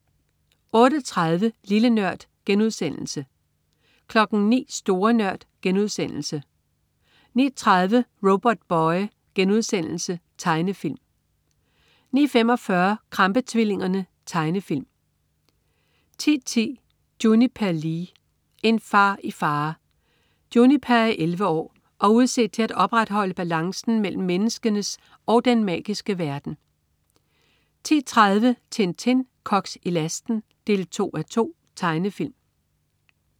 08.30 Lille Nørd* 09.00 Store Nørd* 09.30 Robotboy.* Tegnefilm 09.45 Krampe-tvillingerne. Tegnefilm 10.10 Juniper Lee. En far i fare. Juniper er 11 år og udset til at opretholde balancen mellem menneskenes og den magiske verden 10.30 Tintin. Koks i lasten 2:2. Tegnefilm